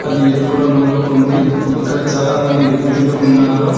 అది ఎరుపు రంగులో ఉంది ఇక్కడ చాలామంది వ్యక్తులు ఉన్నారు.